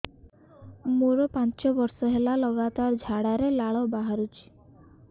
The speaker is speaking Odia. ମୋରୋ ପାଞ୍ଚ ବର୍ଷ ହେଲା ଲଗାତାର ଝାଡ଼ାରେ ଲାଳ ବାହାରୁଚି